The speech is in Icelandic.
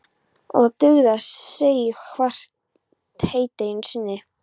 Og það dugði að segja henni hvert heiti einu sinni.